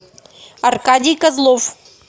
аркадий козлов